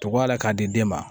Tɔgɔ la k'a di den ma